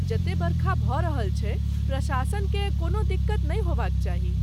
जते बरखा भऽ रहल छै, प्रशासनकेँ कोनो दिक्कत नहि होयबाक चाही।